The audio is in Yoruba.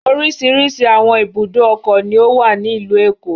Oríṣiríṣi àwọn ibùdó-ọkọ̀ ni ó wà ní ìlú Èkó.